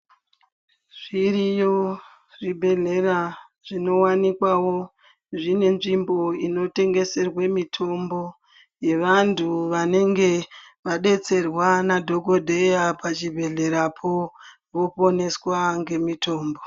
Zviriyo zvibhedhlera zvinowanikwawo zvine nzvimbo inotengeserwe mitombo yevantu vanenge vadetserwa nadhogodheya pachibhedhlerapo voponeswa ngemitombo.